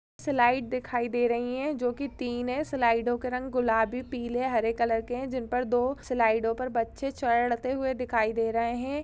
Slide दिखाई दे रही है जो कि तीन है स्लाइडो के रंग गुलाबी पीले हरे कलर के है जिन पर दो स्लाइडो पर बच्चे चढ़ते हुए दिखाई दे रहे है।